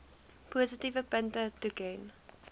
positiewe punte toeken